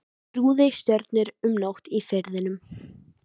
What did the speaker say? Þrúði stjörnur um nótt í Firðinum.